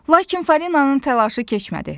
Lakin Falinanın telaşı keçmədi.